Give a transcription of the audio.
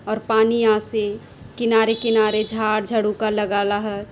और पानी आसे किनारे किनारे झाड़ झाड़ूका लगाला ह--